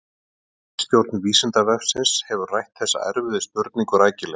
Ritstjórn Vísindavefsins hefur rætt þessa erfiðu spurningu rækilega.